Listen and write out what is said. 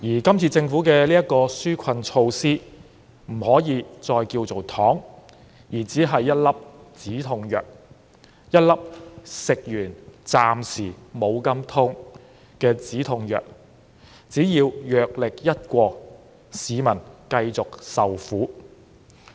這次政府推出的紓困措施不可以再叫做"糖"，只是一粒"止痛藥"，一粒暫時減輕痛楚的"止痛藥"，但藥力一過，市民還是繼續受苦。